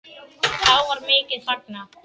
Þá var mikið fagnað.